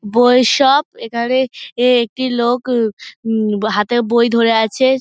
বই শপ এখানে এ একটি লোক উ উ হাতে বই ধরে আছে।